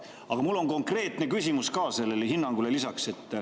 Aga mul on konkreetne küsimus ka sellele hinnangule lisaks.